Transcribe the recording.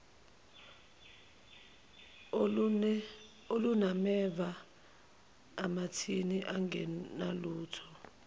olunameva amathini angenalutho